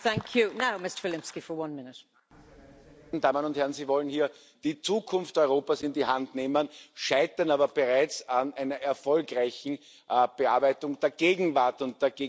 Frau Präsidentin, meine Damen und Herren! Sie wollen hier die Zukunft Europas in die Hand nehmen, scheitern aber bereits an einer erfolgreichen Bearbeitung der Gegenwart und der gegenwärtigen Probleme.